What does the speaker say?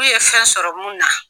Uu ye fɛn sɔrɔ mun na.